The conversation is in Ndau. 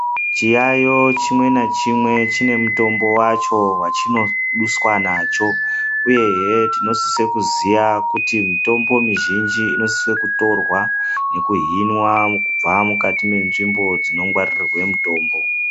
Chayeyeyo chimwe na chimwe chine mutombo wacho wachinoduswa nacho uyezve tinosisa kuziya kuti mitombo mizhinji inosiswa kutorwa nekuhinwa kubva munzvimbo dzinongwaririrwa mitombo.